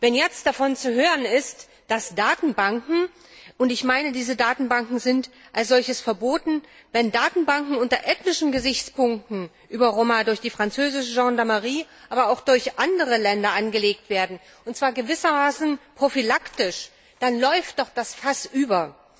Wenn jetzt davon zu hören ist, dass Datenbanken und ich meine, diese Datenbanken sind als solches verboten unter ethnischen Gesichtspunkten über Roma durch die französische Gendarmerie, aber auch durch andere Länder angelegt werden, und zwar gewissermaßen prophylaktisch, dann läuft doch das Fass über!